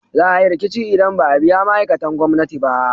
Za a yi riƙici in ba a biya ma'aikatan gwamnati ba